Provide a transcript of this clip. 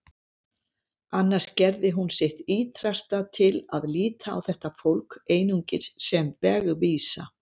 Annars gerði hún sitt ýtrasta til að líta á þetta fólk einungis sem vegvísa.